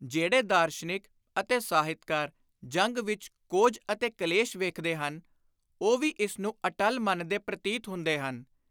ਜਿਹੜੇ ਦਾਰਸ਼ਨਿਕ ਅਤੇ ਸਾਹਿਤਕਾਰ ਜੰਗ ਵਿੱਚ ਕੋਝ ਅਤੇ ਕਲੇਸ਼ ਵੇਖਦੇ ਹਨ ਉਹ ਵੀ ਇਸ ਨੂੰ ਅਟੱਲ ਮੰਨਦੇ ਪ੍ਰਤੀਤ ਹੁੰਦੇ ਹਨ।